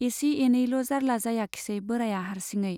एसे एनैल' जार्ला जायाखिसै बोराया हार्सिङै।